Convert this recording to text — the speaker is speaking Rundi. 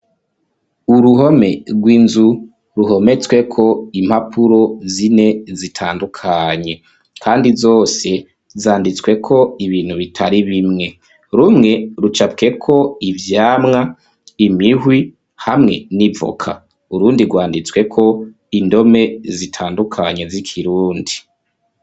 Uruhome rw'inzu ruhometsweko impapuro zine zitandukanye kandi zose zanditsweko ibintu bitari bimwe rumwe rucapweko ivyamwa, imihwi hamwe n'ivoka urundi rwanditsweko indome zitandukanye z'ikirundi.